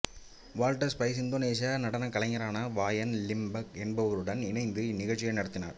Walter Spies இந்தோனேசிய நடனக் கலைஞரான வயான் லிம்பக் என்பவருடன் இணைந்து இந்நிகழ்ச்சியை நடத்தினார்